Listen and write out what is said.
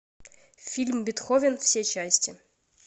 фильм бетховен все части